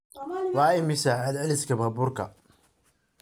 Waa imisa celceliska baabuurka?